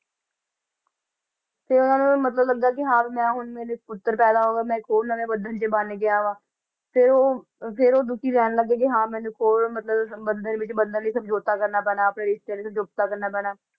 ਫਿਰ ਉਹਨਾਂ ਨੂੰ ਮਤਲਬ ਲੱਗਾ ਕਿ ਹਾਂ ਵੀ ਮੈਂ ਹੁਣ ਮੇਰੇ ਪੁੱਤਰ ਪੈਦਾ ਹੋ ਗਿਆ ਮੈਂ ਇੱਕ ਹੋਰ ਨਵੇਂ ਬੰਧਨ 'ਚ ਬੰਨ ਗਿਆ ਵਾਂ, ਫਿਰ ਉਹ ਫਿਰ ਉਹ ਦੁੱਖੀ ਰਹਿਣ ਲੱਗੇ ਕਿ ਹਾਂ ਮੇਰੇ ਕੋਲ ਮਤਲਬ ਬੰਧਨ ਵਿੱਚ ਬੰਨਣ ਲਈ ਸਮਝੌਤਾ ਕਰਨਾ ਪੈਣਾ ਆਪਣੇ ਰਿਸਤਿਆਂ ਲਈ ਸਮਝੌਤਾ ਕਰਨਾ ਪੈਣਾ।